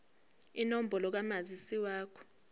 inombolo kamazisi wakho